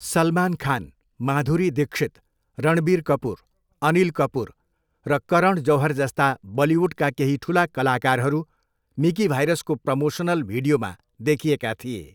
सलमान खान, माधुरी दीक्षित, रणबीर कपुर, अनिल कपुर, र करण जौहर जस्ता बलिउडका केही ठुला कलाकारहरू मिकी भाइरसको प्रमोसनल भिडियोमा देखिएका थिए।